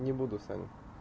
не буду саня